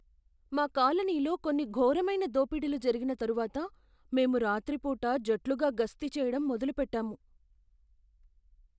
మా కాలనీలో కొన్ని ఘోరమైన దోపిడీలు జరిగిన తరువాత మేము రాత్రి పూట జట్లుగా గస్తీ చెయ్యడం మొదలుపెట్టాము.